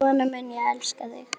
Svona mun ég elska þig.